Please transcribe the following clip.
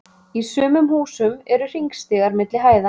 Í sumum húsum eru hringstigar milli hæða.